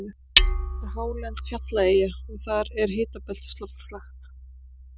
hún er hálend eldfjallaeyja og þar er hitabeltisloftslag